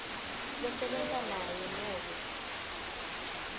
losebenta naye nobe